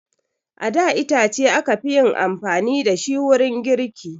A da itace aka fi yin amfani da shi wurin girki